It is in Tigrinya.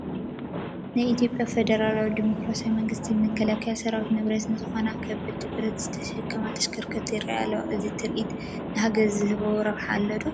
ናይ ኢትዮጵያ ፌደራላዊ ዲሞክራሲያዊ መንግስቲ መከላከሊ ሰራዊት ንብረት ዝኾና ከቢድ ብረት ዝተሸከማ ተሽከርከርቲ ይርአያ ኣለዋ፡፡ እዚ ትርኢት ንሃገር ዝህቦ ረብሓ ኣሎ ዶ?